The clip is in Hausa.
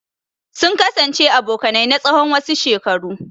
Sun kasance abokanai na tsawon wasu shekaru.